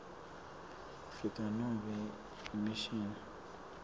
afrika nobe imishini